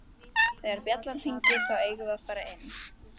Þegar bjallan hringir þá eigum við að fara inn